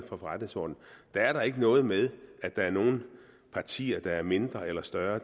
forretningsordenen er der ikke noget med at der er nogle partier der er mindre eller større